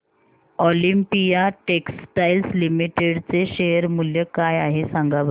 Olympia textiles limited चे share मूल्य काय आहे सांगा बरं